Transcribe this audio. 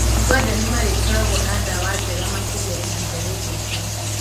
ũganda nĩmarĩkoragwo na ndawa njega makĩria ihinda rĩgũka.